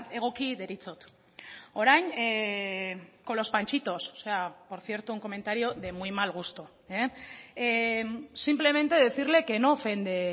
egoki deritzot orain con los panchitos por cierto un comentario de muy mal gusto simplemente decirle que no ofende